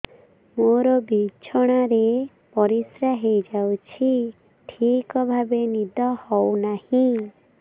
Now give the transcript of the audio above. ମୋର ବିଛଣାରେ ପରିସ୍ରା ହେଇଯାଉଛି ଠିକ ଭାବେ ନିଦ ହଉ ନାହିଁ